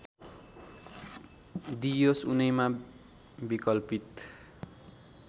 दिइयोस् उनैमा विकल्पित